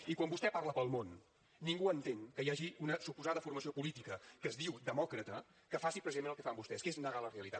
i quan vostè parla pel món ningú entén que hi hagi una suposada formació política que es diu demòcrata que faci precisament el que fan vostès que és negar la realitat